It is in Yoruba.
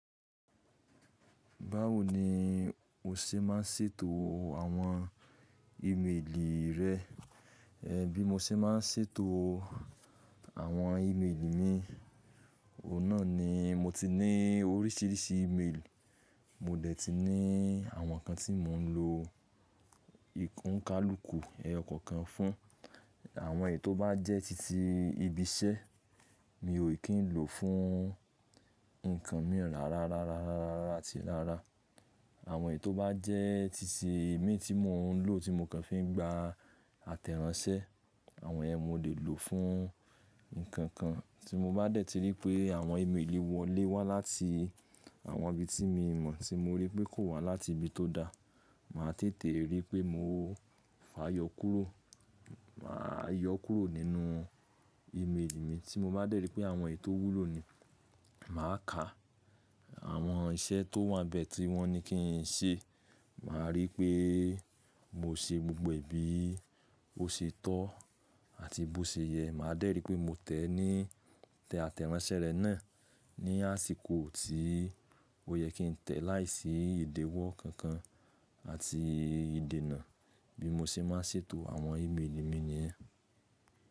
Báwo ni o ṣe ma ń ṣètò àwọn ímeèlì rẹ? Ẹ̀n bí mo ṣe ma ń ṣètò àwọn ímeèlì mi, òun náà ni mo ti ní orísìírísìí ímeèlì. Mo dẹ̀ ti ní àwọn kan tí mò ń lo ìkúnkalùkù ẹyọ kankan fún. Àwọn èyí tó bá jẹ́ titi ibi iṣẹ́ mi ò kí ń lò fún nǹkan mìí rárá, rárá, rárá, rárá àti rárá. Àwọn èyí tó bá jẹ́ titi i mi tí mò ń lò tí mo kàn fi ń gba àtẹ̀ránsẹ́. Àwọn yèn mo lè lò fún nǹkan kan. Tí mo bá dẹ̀ ti rí pé àwọn ímeèlì wọlé wá láti àwọn ibi tí mi o mọ̀ tí mo rí pé kò wá láti ibi tó da, màá tètè rí pé mo fáa yọ kúrò. Màá yọ kúrò nínú ímeèlì mi. Tí mo bá dẹ̀ rí pé àwọn èyí tó wúlò ni, màá ka àwọn iṣẹ́ tó wà n bẹ́ẹ̀ tí wọ́n ní kí n ṣe. Màá rí pé mo ṣe gbogbo è bi o ṣe tọ́ àti bó ṣe yẹ. Màá dẹ̀ rí pé mo tẹ̀ ní tẹ àtẹ̀ránsẹ́ rẹ̀ náà ní àsìkò tí ó yẹ kí n tẹ̀ láìsí ìdéwọ́ kankan àti ìdènà. Bí mo ṣe má n ṣètò àwọn ímeèlì mi ni yen.